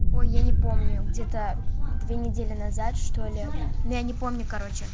ой я не помню где-то две недели назад что-ли я не помню короче